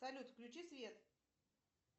салют включи свет